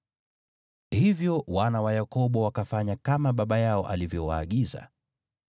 Hivyo wana wa Yakobo wakafanya kama baba yao alivyowaagiza: